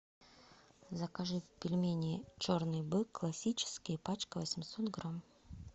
закажи пельмени черный бык классические пачка восемьсот грамм